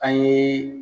An ye